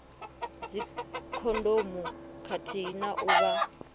dzikhondomu khathihi na u vha